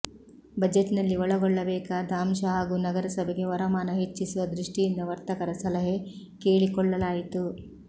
ಬಜೆಟ್ನಲ್ಲಿ ಒಳಗೊಳ್ಳಬೇಕಾದ ಅಂಶ ಹಾಗೂ ನಗರಸಭೆಗೆ ವರಮಾನ ಹೆಚ್ಚಿಸುವ ದೃಷ್ಟಿಯಿಂದ ವರ್ತಕರ ಸಲಹೆ ಕೇಳಿಕೊಳ್ಳಲಾಯಿತು